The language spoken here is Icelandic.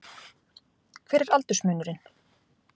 Hver er aldursmunurinn?